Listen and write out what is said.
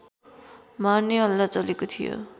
मार्ने हल्ला चलेको थियो